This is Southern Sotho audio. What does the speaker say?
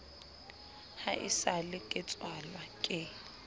ha esale ke tswalwa ke